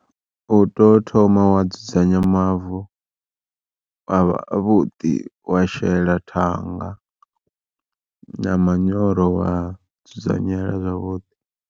U to thoma wa dzudzanya mavu, a vha a vhuḓi wa shela thanga na manyoro wa dzudzanyela zwavhuḓi.